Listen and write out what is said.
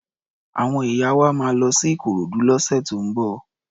Àwọn ìyá wa máa lọ sí Ikorodu lọ́sẹ̀ tó ń bọ̀.